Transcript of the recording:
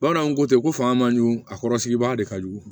Bamananw ko ten ko fanga man ɲi a kɔrɔ sigibaga de ka jugu